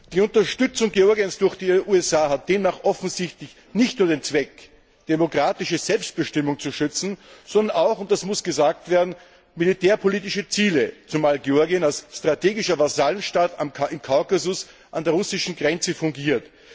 Die Unterstützung Georgiens durch die USA hatte demnach offensichtlich nicht nur den Zweck, das demokratische Selbstbestimmungsrecht zu schützen, sondern auch und das muss gesagt werden militärpolitische Ziele, zumal Georgien als strategischer Vasallenstaat im Kaukasus an der russischen Grenze fungiert.